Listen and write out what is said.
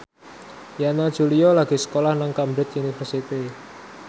Yana Julio lagi sekolah nang Cambridge University